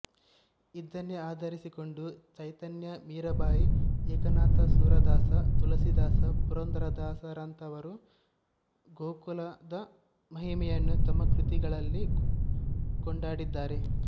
ಇದನ್ನೇ ಆಧರಿಸಿಕೊಂಡು ಚೈತನ್ಯ ಮೀರಾಬಾಯಿ ಏಕನಾಥ ಸೂರದಾಸ ತುಳಸೀದಾಸ ಪುರಂದರದಾಸರಂಥವರು ಗೋಕುಲದ ಮಹಿಮೆಯನ್ನು ತಮ್ಮ ಕೃತಿಗಳಲ್ಲಿ ಕೊಂಡಾಡಿದ್ದಾರೆ